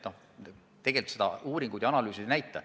Tegelikult seda uuringud ja analüüsid ei näita.